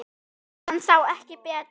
Hann sá ekki betur.